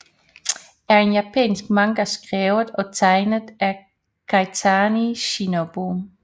er en japansk manga skrevet og tegnet af Kaitani Shinobu